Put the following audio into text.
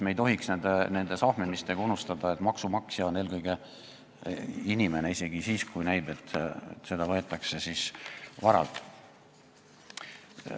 Me ei tohiks nende sahmimistega unustada, et maksu maksab eelkõige inimene, isegi siis, kui näib, et seda maksu võetakse varalt.